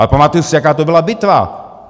Ale pamatuji si, jaká to byla bitva!